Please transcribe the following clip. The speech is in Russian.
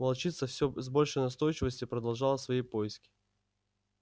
волчица всё с большей настойчивостью продолжала свои поиски